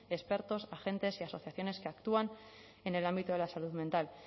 expertos agentes y asociaciones que actúan en el ámbito de la salud mental